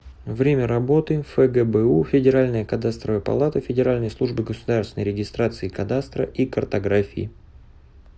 время работы фгбу федеральная кадастровая палата федеральной службы государственной регистрации кадастра и картографии